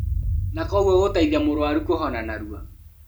Na koguo gũteithia mũrũaru kũhona narua